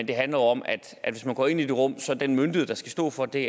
det handler om at hvis man går ind i det rum så er den myndighed der skal stå for det